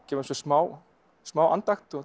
gefa sér smá smá andakt